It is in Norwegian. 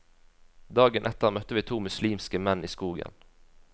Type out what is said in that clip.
Dagen etter møtte vi to muslimske menn i skogen.